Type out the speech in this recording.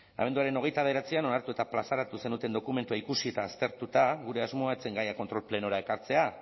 abenduaren hogeita bederatzian onartu eta plazaratu zenuten dokumentua ikusi eta aztertuta gure asmoa ez zen gaia kontrol plenora ekartzea